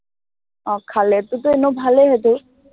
আহ খালেতোটো এনেও ভালেই সেইটো।